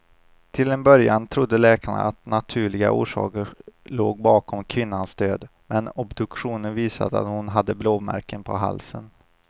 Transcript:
Till en början trodde läkarna att naturliga orsaker låg bakom kvinnans död, men obduktionen visade att hon hade blåmärken på halsen.